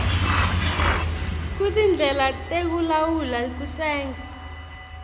kutindlela tekulawula kutsenga